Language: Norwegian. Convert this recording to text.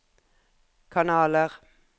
kanaler